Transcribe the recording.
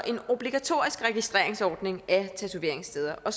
obligatorisk registreringsordning af tatoveringssteder og